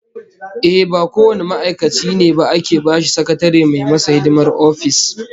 Ehh, ba kowane ma'aikaci ne ba ake bashi sakatare mai masa hidimar office